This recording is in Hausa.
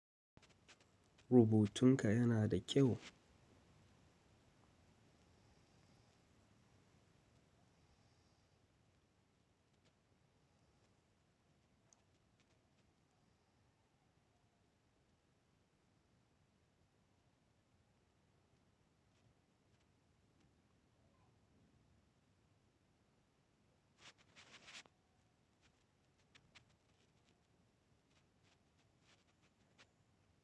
Rubutun ka yana da kyau?